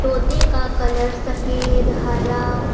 तोते का कलर सफेद हरा--